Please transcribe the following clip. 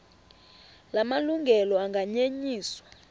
la malungelo anganyenyiswa